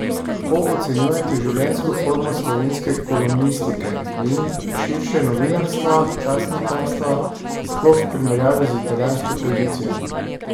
Kako ocenjujete življenjsko formo slovenske kolumnistike in, širše, novinarstva, časnikarstva, sploh v primerjavi z italijansko tradicijo?